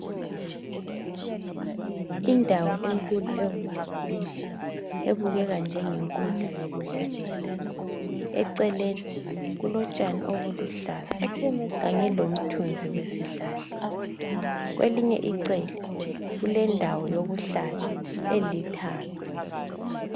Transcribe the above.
Indawo enkulu evulekileyo ebukeka njengenkundla yokudlalela, eceleni kulotshani obuluhlaza kanye lomthunzi wesihlahla. Kwelinye icele kulendawo yokuhlala elithanga.